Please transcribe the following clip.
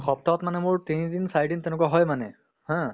সপ্তাহত মানে মোৰ তিনিদিন চাৰিদিন তেনেকুৱা হয় মানে haa